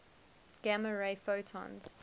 gamma ray photons